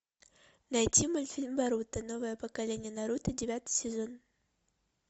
найти мультфильм наруто новое поколение наруто девятый сезон